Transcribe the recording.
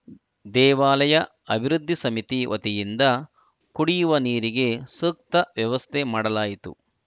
ದೇವಾಲಯ ಅಭಿವೃದ್ಧಿ ಸಮಿತಿ ವತಿಯಿಂದ ಕುಡಿಯುವ ನೀರಿಗೆ ಸೂಕ್ತ ವ್ಯವಸ್ಥೆ ಮಾಡಲಾಯಿತು